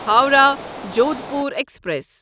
Howrah Jodhpur express